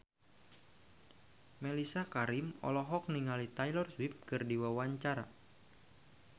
Mellisa Karim olohok ningali Taylor Swift keur diwawancara